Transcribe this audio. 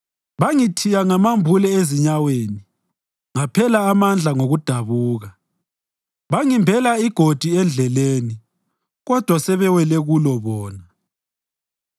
Bangithiya ngamambule ezinyaweni ngaphela amandla ngokudabuka. Bangimbela igodi endleleni kodwa sebewele kulo bona.